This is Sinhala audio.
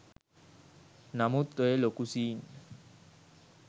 නමුත් ඔය ලොකු සීන්